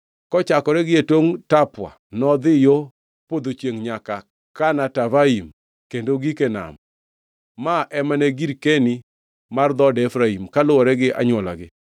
Kochakore gie tongʼ Tapua nodhi yo podho chiengʼ nyaka Kana Tavain kendo ogik e nam. Ma ema ne girkeni mar dhood Efraim, kaluwore gi anywolagi.